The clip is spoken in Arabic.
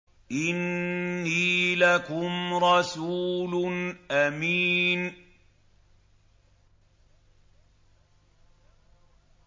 إِنِّي لَكُمْ رَسُولٌ أَمِينٌ